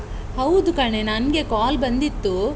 ಹೌದು ಕಣೇ, ನನ್ಗೆ ಕಾಲ್ ಬಂದಿತ್ತು.